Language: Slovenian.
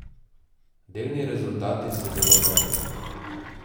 Delni rezultati so zelo dobri.